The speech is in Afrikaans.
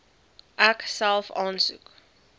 ek self aansoek